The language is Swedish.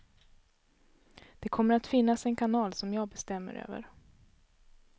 Det kommer att finnas en kanal, som jag bestämmer över.